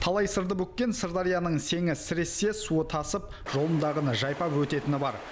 талай сырды бүккен сырдарияның сеңі сірессе суы тасып жолындағыны жайпап өтетіні бар